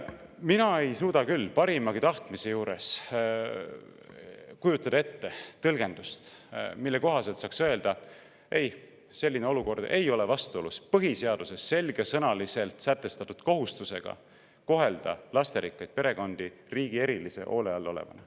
Mina ei suuda parimagi tahtmise juures kujutada ette tõlgendust, mille kohaselt saaks öelda: ei, selline olukord ei ole vastuolus põhiseaduses selgesõnaliselt sätestatud kohustusega kohelda lasterikkaid perekondi riigi erilise hoole all olevatena.